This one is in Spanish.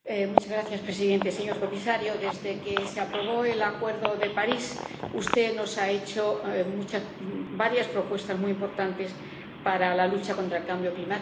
Señor presidente, señor comisario, desde que se aprobó el Acuerdo de París, usted nos ha hecho varias propuestas muy importantes para la lucha contra el cambio climático.